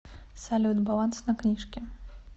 салют баланс на книжке